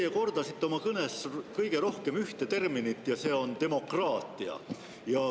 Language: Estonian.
Te kordasite oma kõnes kõige rohkem ühte terminit, see on "demokraatia".